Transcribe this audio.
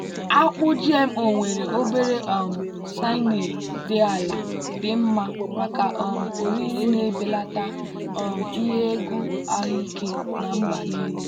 akpụ gmo nwere obere um cyanide dị ala dị mma maka um oriri na-ebelata um ihe egwu ahụike na mba niile.